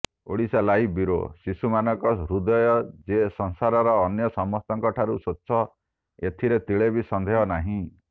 Odisha live bureau ଶିଶୁମାନଙ୍କ ହୃଦୟ ଯେ ସଂସାରର ଅନ୍ୟ ସମସ୍ତଙ୍କଠାରୁ ସ୍ୱଚ୍ଛ ଏଥିରେ ତିଳେ ବି ସନ୍ଦେହ ନାହିଁ